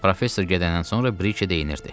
Professor gedəndən sonra Brike deyinirdi.